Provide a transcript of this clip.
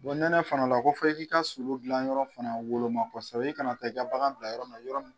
nɛnɛ fana la ko fɔ i k'i ka sulu dilanyɔrɔ fana woloma kosɛbɛ i kana taa ka bagan bila yɔrɔ na yɔrɔ min